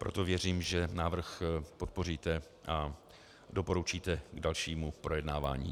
Proto věřím, že návrh podpoříte a doporučíte k dalšímu projednávání.